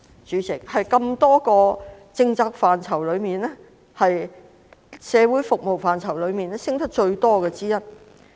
在多個政策範疇當中，社會服務開支升得最多。